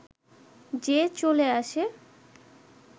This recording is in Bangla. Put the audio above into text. যে চলে আসে